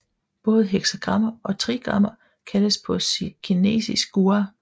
Både heksagrammer og trigrammer kaldes på kinesisk gua 卦